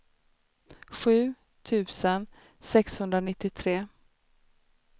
sju tusen sexhundranittiotre